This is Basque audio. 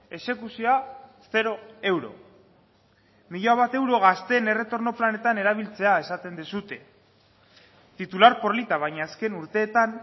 exekuzioa zero euro mila bat euro gazteen erretorno planetan erabiltzea esaten duzue titular polita baina azken urteetan